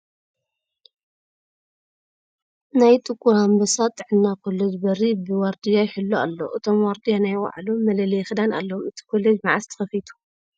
ናይ ጥቁር ኣንበሳ ጥዕና ኮሌጅ በሪ ብ ዋርድያ ይሕሎ ኣሎ እቶም ዋርድያ ናይ ባዕሎም መለለዪ ክዳን ኣለዎም ። ኣቲ ኮሌጅ መዕዘ ተከፊቱ ?